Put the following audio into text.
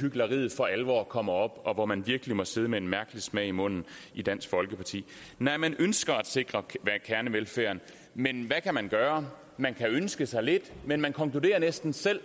hykleriet for alvor kommer op og hvor man virkelig må sidde med en mærkelig smag i munden i dansk folkeparti at man ønsker at sikre kernevelfærden men hvad kan man gøre man kan ønske sig lidt men man konkluderer næsten selv